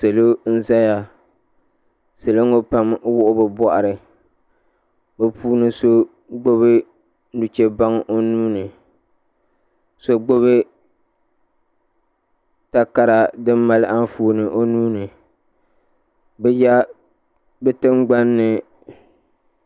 Salo n zaya salo ŋɔ pam n wuɣi bɛ boɣari bɛ puuni so gbini nuchebaŋa o nuuni so gbibi takara di mali Anfooni o nuuni bɛ tingbanni.